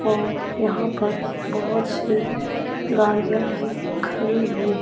ओ यहां पर बहोत सी ल गाड़ियां भी खड़ी हुई है।